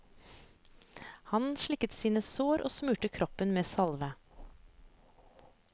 Han slikket sine sår og smurte kroppen med salve.